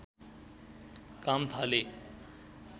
काम थाले